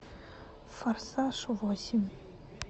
форсаж восемь